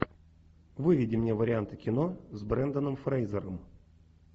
выведи мне варианты кино с бренданом фрейзером